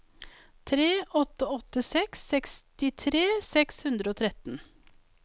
tre åtte åtte seks sekstitre seks hundre og tretten